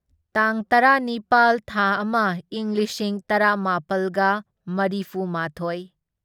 ꯇꯥꯡ ꯇꯔꯥꯅꯤꯄꯥꯜ ꯊꯥ ꯑꯃ ꯢꯪ ꯂꯤꯁꯤꯡ ꯇꯔꯥꯃꯥꯄꯜꯒ ꯃꯔꯤꯐꯨꯃꯥꯊꯣꯢ